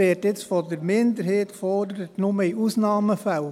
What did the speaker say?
Die Minderheit fordert nun: «nur in Ausnahmefällen».